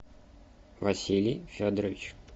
василий федорович